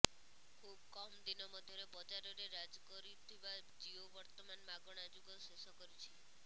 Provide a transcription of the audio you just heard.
ଖୁବ କମ୍ ଦିନ ମଧ୍ୟରେ ବଜାରରେ ରାଜ କରୁଥିବା ଜିଓ ବର୍ତ୍ତମାନ ମାଗଣା ଯୁଗ ଶେଷ କରିଛି